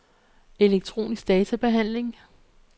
elektronisk databehandling